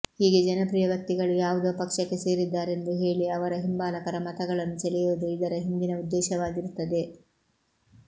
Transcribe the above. ಹೀಗೆ ಜನಪ್ರಿಯ ವ್ಯಕ್ತಿಗಳು ಯಾವುದೋ ಪಕ್ಷಕ್ಕೆ ಸೇರಿದ್ದಾರೆಂದು ಹೇಳಿ ಅವರ ಹಿಂಬಾಲಕರ ಮತಗಳನ್ನು ಸೆಳೆಯುವುದು ಇದರ ಹಿಂದಿನ ಉದ್ದೇಶವಾಗಿರುತ್ತದೆ